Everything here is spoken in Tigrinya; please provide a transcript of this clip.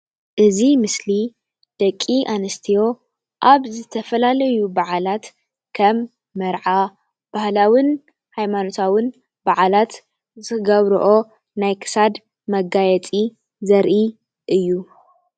እዚ ምስሊ ደቂ ኣንስትዮ ኣብ ዝተፈላለዩ በዓላት ከም መርዓ ባህላዉን ሃይማኖታዉን ብዓላት ዝገብረኦ ናይ ክሳድ መጋየፂ ዘርኢ እዩ።